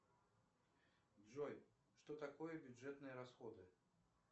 джой что такое бюджетные расходы